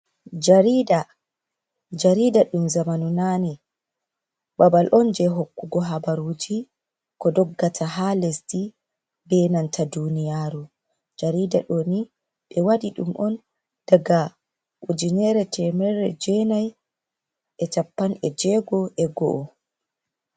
Jariɗa ɗum zamanu nani. Babal on je hokkugo habaruji ko ɗoggata ha lesɗi be nanta duniyaru. Jariɗa ɗoni be waɗi ɗum on daga ujinere chappan e jego e go'o.